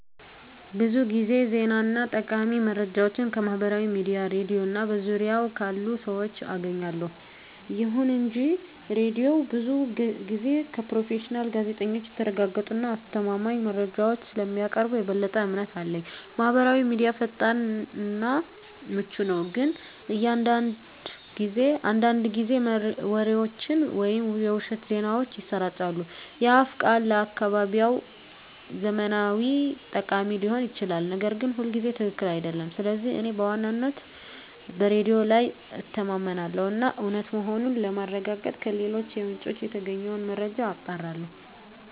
ብዙ ጊዜ ዜና እና ጠቃሚ መረጃዎችን ከማህበራዊ ሚዲያ፣ ሬድዮ እና በዙሪያዬ ካሉ ሰዎች አገኛለሁ። ይሁን እንጂ ሬዲዮው ብዙ ጊዜ ከፕሮፌሽናል ጋዜጠኞች የተረጋገጡ እና አስተማማኝ መረጃዎችን ስለሚያቀርብ የበለጠ እምነት አለኝ። ማህበራዊ ሚዲያ ፈጣን እና ምቹ ነው፣ ግን አንዳንድ ጊዜ ወሬዎችን ወይም የውሸት ዜናዎችን ያሰራጫል። የአፍ ቃል ለአካባቢያዊ ዝመናዎች ጠቃሚ ሊሆን ይችላል, ነገር ግን ሁልጊዜ ትክክል አይደለም. ስለዚህ እኔ በዋነኝነት በሬዲዮ ላይ እተማመናለሁ እና እውነት መሆኑን ለማረጋገጥ ከሌሎች ምንጮች የተገኘውን መረጃ አጣራለሁ።